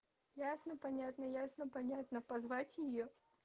ясно понятно ясно понятно позвать её